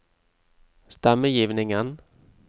stemmegivningen